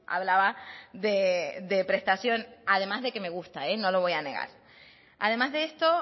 hablaba de prestación además de que me gusta no lo voy a negar además de esto